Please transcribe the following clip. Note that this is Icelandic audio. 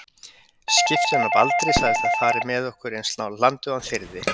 Skipstjórinn á Baldri sagðist fara með okkur eins nálægt landi og hann þyrði.